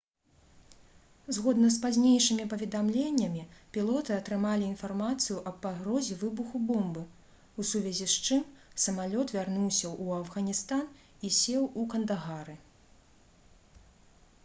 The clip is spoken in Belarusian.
згодна з пазнейшымі паведамленнямі пілоты атрымалі інфармацыю аб пагрозе выбуху бомбы у сувязі с чым самалёт вярнуўся ў афганістан і сеў у кандагары